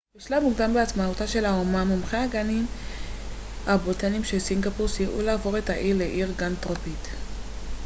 בשלב מוקדם בעצמאותה של האומה מומחי הגנים הבוטניים של סינגפור סייעו להפוך את האי לעיר גן טרופית